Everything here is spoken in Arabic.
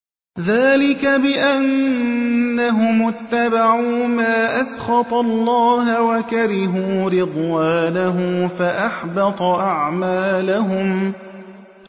ذَٰلِكَ بِأَنَّهُمُ اتَّبَعُوا مَا أَسْخَطَ اللَّهَ وَكَرِهُوا رِضْوَانَهُ فَأَحْبَطَ أَعْمَالَهُمْ